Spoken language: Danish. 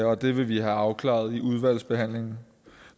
og det vil vi have afklaret i udvalgsbehandlingen